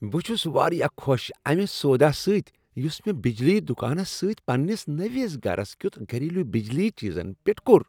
بہٕ چھس واریاہ خوش امہ سودا سۭتۍ یس مےٚ بجلی دکانس سۭتۍ پننس نٔوس گرس کیُتھ گھریلو بجلی چیزن پیٹھ کوٚر۔